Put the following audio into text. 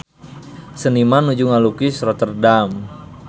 Seniman nuju ngalukis Rotterdam